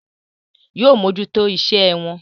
Yóò mójútó iṣẹ́ ẹ wọn.